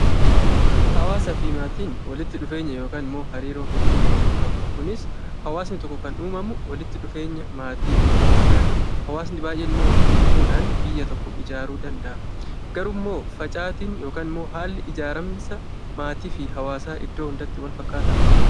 Hawaasaa fi maatiin walitti dhufeenya yookiin immoo hariiroo hedduu waliin qabu. Kunis hawaasni tokko kan uumamu walitti dhufeenya maatii hedduu irraati. Hawaasni baay'een immoo walitti dhufudhaan biyya tokko ijaaruu danda'a. Garuu facaatiin yookiin haalli ijaaraminsa maatii fi hawaasaa iddoo hundatti walfakkaataa?